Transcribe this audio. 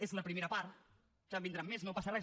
és la primera part ja en vindran més no passa res